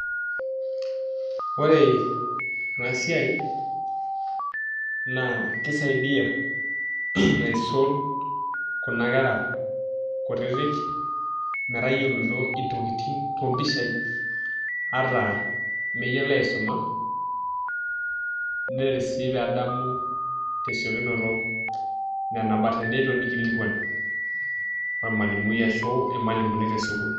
Ore ena siai naa kisaidia aisul kuna kera kutitik metayioloito intokitin toompishai ata meyiolo aisuma neret sii pee edamu tesiokinoto nena but tenelo nikilikuanu ormalimui ashu irmalimuni tesukuul.